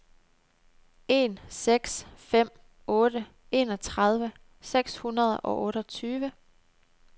en seks fem otte enogtredive seks hundrede og otteogtyve